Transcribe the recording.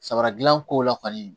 Samara dilan ko la kɔni